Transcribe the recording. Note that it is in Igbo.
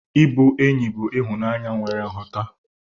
Ịbụ enyi bụ ịhụnanya nwere nghọta.